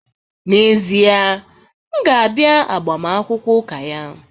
N'ezie, m ga-abịa agbamakwụkwọ ụka ya?